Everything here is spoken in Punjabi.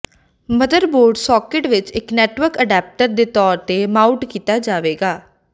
ਮਦਰਬੋਰਡ ਸਾਕਟ ਵਿੱਚ ਇੱਕ ਨੈੱਟਵਰਕ ਅਡਾਪਟਰ ਦੇ ਤੌਰ ਤੇ ਮਾਊਟ ਕੀਤਾ ਜਾਵੇਗਾ